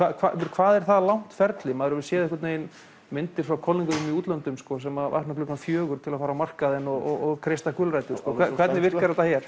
hvað er það langt ferli maður hefur séð myndir frá kollegum þínum í útlöndum sem vakna klukkan fjögur til að fara á markaðinn og kreista gulrætur hvernig virkar þetta hér